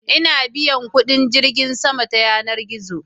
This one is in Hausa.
ina biyan kudin jirgin sama ta yanar gizo